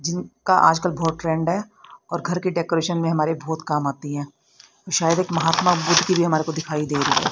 जिनका आज कल बहोत ट्रेंड है और घर की डेकोरेशन में हमारे बहोत काम आती है शायद एक महात्मा बुद्ध की हमारे को दिखाई दे रही।